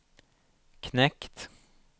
knekt